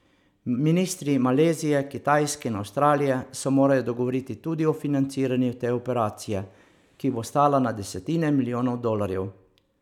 Ministri Malezije, Kitajske in Avstralije se morajo dogovoriti tudi o financiranju te operacije, ki bo stala na desetine milijonov dolarjev.